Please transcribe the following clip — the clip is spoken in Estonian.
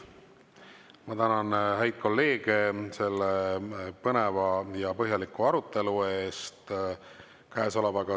Ma tänan häid kolleege selle põneva ja põhjaliku arutelu eest.